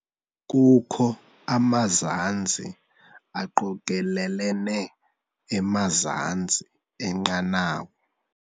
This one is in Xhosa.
Kukho amanzi aqokelelene emazantsi enqanawa.